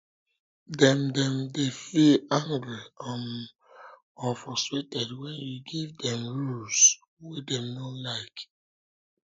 dem dem de feel angry um or frustrated when you give dem rules um wey dem no like